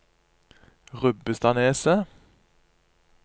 Rubbestadneset